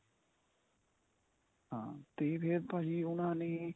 ਹਾਂ ਤੇ ਫੇਰ ਭਾਜੀ ਉਨ੍ਹਾਂ ਨੇ